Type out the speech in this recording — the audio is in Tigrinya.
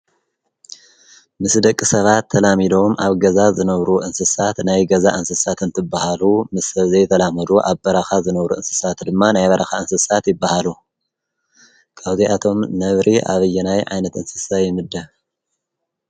ምስ ደቂ ሰባት ተላሚዶም ኣብ ገዛ ዝነብሩ እንስሳት ናይ ገዛ እንስሳት እንትበሃሉ ምስ ሰብ ዘይተላመዱ ኣብ በረኻ ዝነብሩ እንስሳት ድማ ናይ በረኻ እንስሳት ይበሃሉ፡፡ ካብዚኣቶም ነብሪ ኣብየናይ ዓይነት እንስሳ ይምደብ?